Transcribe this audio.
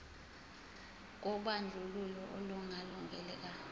kobandlululo olungalungile ka